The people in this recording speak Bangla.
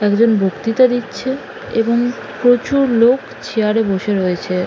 একজন বক্তৃতা দিচ্ছে এবং প্রচুর লোক চেয়ার -এ বসে রয়েছে।